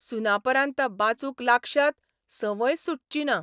सुनापरान्त बाचूंक लागशात , संवय सुटचीना !